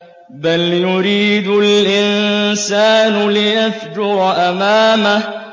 بَلْ يُرِيدُ الْإِنسَانُ لِيَفْجُرَ أَمَامَهُ